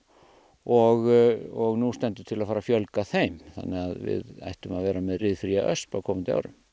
og nú stendur til að fara að fjölga þeim þannig að við ættum að vera komin með ryðfría ösp á komandi árum